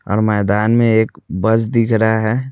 और मैदान में एक बस दिख रहा है।